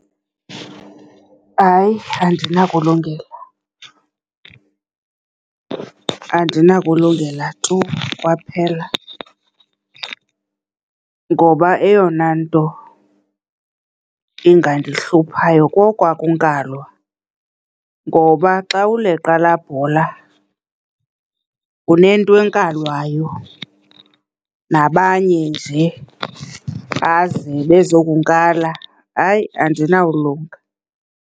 Hayi, andinakulungela, andinakulungela tu kwaphela. Ngoba eyona nto ingandihluphayo kokwakunkalwa, ngoba xa uleqa laa bhola unento enkalwayo, nabanye nje baze bezokunkala. Hayi, andinawulunga.